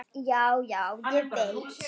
Já, já, ég veit.